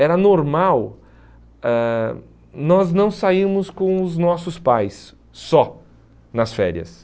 Era normal ãh nós não sairmos com os nossos pais só nas férias.